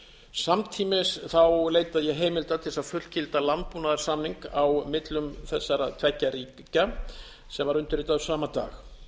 samtímis leita ég heimildar til þess að fullgilda landbúnaðarsamning á millum þessara tveggja ríkja sem var undirritaður sama dag